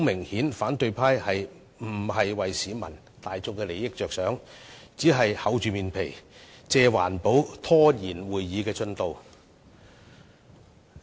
顯然，反對派議員並非為市民大眾的利益着想，只是厚着臉皮，借環保拖延會議的進度。